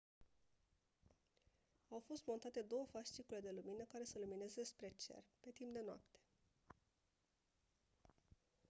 au fost montate două fascicule de lumină care să lumineze spre cer pe timp de noapte